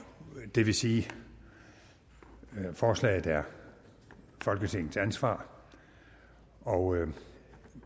det vil sige at forslaget er folketingets ansvar og